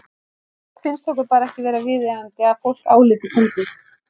Sumt finnst okkur bara ekki vera viðeigandi að fólk álíti fyndið.